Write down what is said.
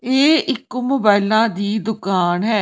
ਇਹ ਇੱਕ ਮੋਬਾਇਲਾਂ ਦੀ ਦੁਕਾਨ ਹੈ।